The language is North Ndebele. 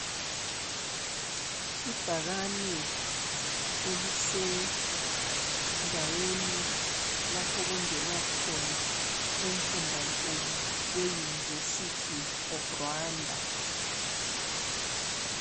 Ibhakani elisendaweni lapho okungenwa khona emfundankulu e- University of Rwanda.